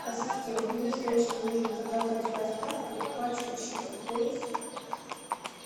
ассистент мне срочно нужно заказать с доставкой пачку чипсов лейс